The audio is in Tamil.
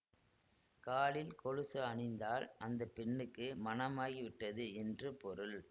காலில் கொலுசு அணிந்தால் அந்த பெண்ணுக்கு மணமாகிவிட்டது என்று பொருள்